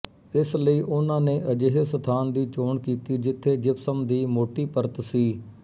ਇਸ ਲਈ ਉਹਨਾਂ ਨੇ ਅਜਿਹੇ ਸਥਾਨ ਦੀ ਚੋਣ ਕੀਤੀ ਜਿੱਥੇ ਜਿਪਸਮ ਦੀ ਮੋਟੀ ਪਰਤ ਸੀ